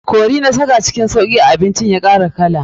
Curry na saka cikin sauki abinci ya kara kala.